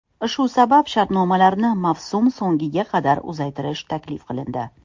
Shu sabab, shartnomalarni mavsum so‘nggiga qadar uzaytirish taklif qilindi.